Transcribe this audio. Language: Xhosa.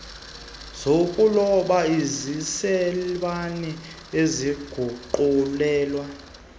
zokuloba ezisecaleni eziguqulelwe